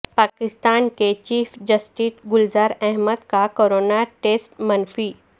پاکستان کے chief justice Gulzar Ahmed کا corona test منفی